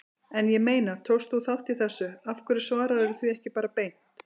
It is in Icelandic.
En ég meina, tókst þú þátt í þessu, af hverju svararðu því ekki bara beint?